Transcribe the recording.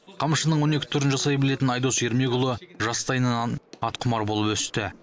қамшының он екі түрін жасай білетін айдос ермекұлы жастайынан атқұмар болып өсті